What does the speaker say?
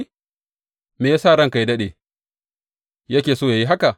Me ya sa ranka yă daɗe yake so yă yi haka?